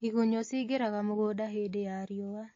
Igunyũ ciingĩraga mũgũnda hĩndĩ ya riũa